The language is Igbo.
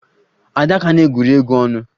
Adaka na-egwuri egwu ọnụ